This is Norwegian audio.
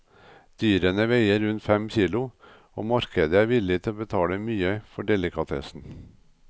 Dyrene veier rundt fem kilo, og markedet er villig til å betale mye for delikatessen.